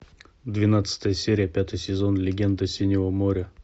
двенадцатая серия пятый сезон легенда синего моря